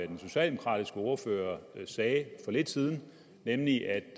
den socialdemokratiske ordfører sagde for lidt siden nemlig at